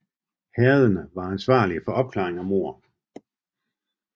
Herrederne var ansvarlige for opklaring af mord